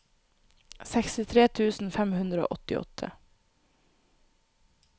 sekstitre tusen fem hundre og åttiåtte